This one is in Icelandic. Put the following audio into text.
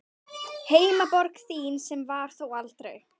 Heimaborg þín, sem var það þó aldrei.